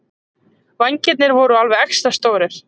Vængirnir voru alveg extra stórir.